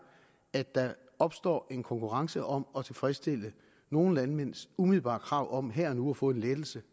at der opstår en konkurrence om at tilfredsstille nogle landmænds umiddelbare krav om her og nu at få en lettelse